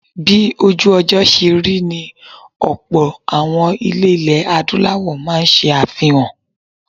Bí ojú-ọjọ́ ṣe rí ni ọlpọ̀ àwọn ilé ilẹ̀ Adúláwọ̀ máa ń ṣe àfihàn.